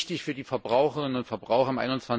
Wichtig ist für die Verbraucherinnen und Verbraucher im